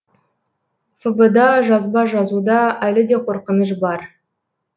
фб да жазба жазуда әлі де қорқыныш бар